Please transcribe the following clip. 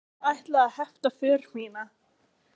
Þykist þið ætla að hefta för mína?